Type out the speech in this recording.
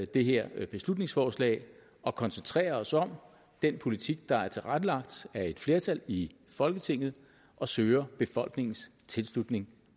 det her beslutningsforslag og koncentrerer os om den politik der er tilrettelagt af et flertal i folketinget og søger befolkningens tilslutning